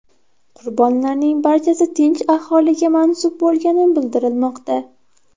Qurbonlarning barchasi tinch aholiga mansub bo‘lgani bildirilmoqda.